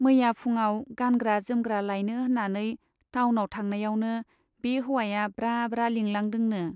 मैया फुङाव गानग्रा जोमग्रा लायनो होन्नानै टाउनाव थांनायावनो बे हौवाया ब्रा ब्रा लिंलांदोंनो।